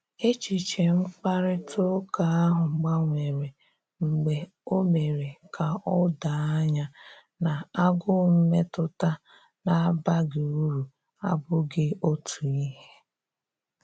Echiche mkparịta ụka ahụ gbanwere mgbe o mere ka o doo anya na agụụ mmetụta na abaghị uru abughị otu ihe